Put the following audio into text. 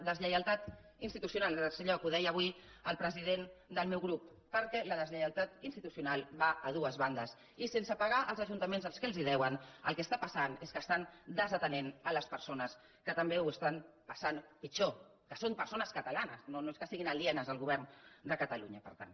deslleialtat institucional en tercer lloc ho deia avui el president del meu grup perquè la deslleialtat institucional va a dues bandes i sense pagar als ajuntaments el que els deuen el que està passant és que estan desatenent les persones que també ho estan passant pitjor que són persones catalanes no és que estiguin alienes al govern de catalunya per tant